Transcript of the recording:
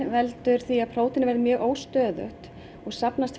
veldur því að prótínin verða mjög óstöðug og safnast